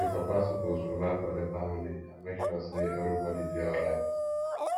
di papa suppose provide for di family and make sure sey everybodi dey alright